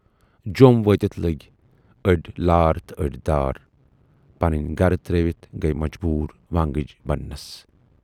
جوم وٲتِتھ لٔگۍ ٲڈۍ لار تہٕ ٲڈۍ دار، پنٕنۍ گرٕ ترٲوِتھ گٔیہِ مجبوٗر وٲنگٕج بنہٕ نَس۔